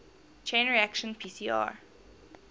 chain reaction pcr